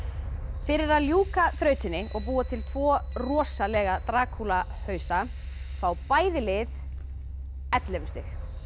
fyrir að ljúka þrautinni og búa til tvo rosalega Drakúla hausa fá bæði lið ellefu stig